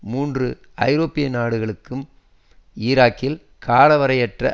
மூன்று ஐரோப்பிய நாடுகளுக்கும் ஈராக்கில் கால வரையற்ற